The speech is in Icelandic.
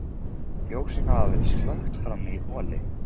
Ljósin hafa verið slökkt frammi í holi.